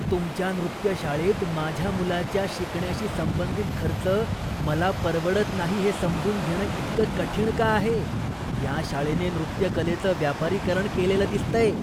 तुमच्या नृत्य शाळेत माझ्या मुलाच्या शिकण्याशी संबंधित खर्च मला परवडत नाही हे समजून घेणं इतकं कठीण का आहे? या शाळेने नृत्यकलेचं व्यापारीकरण केलेलं दिसतंय.